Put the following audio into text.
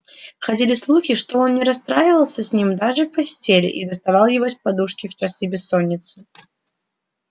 ходили слухи что он не расставался с ним даже в постели и доставал его из-под подушки в часы бессонницы